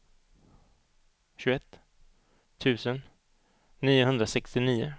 tjugoett tusen niohundrasextionio